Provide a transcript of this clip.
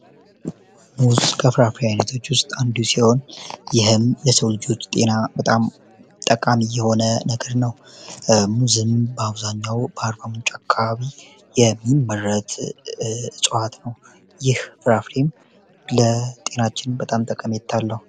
ሙዝ ከፍራፍሪ አይነቶች ውስጥ አንዲሲሆን ይህም ለሰውልጆች ጤና በጣም ጠቃሚ የሆነ ነግድ ነው፡፡ ሙዝም በአውዛኛው በአርባ ምንጭ አካባቢ የሚመረት እፅዋዋት ነው ይህ ፍራፍሬም ለጤናችን በጣም ጠቀሜታ አለው፡፡